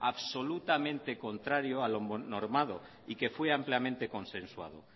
absolutamente contrario a lo normado y que fue ampliamente consensuado